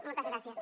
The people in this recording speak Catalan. moltes gràcies